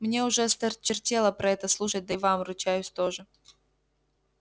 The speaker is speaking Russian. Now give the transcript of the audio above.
мне уже осточертело про это слушать да и вам ручаюсь тоже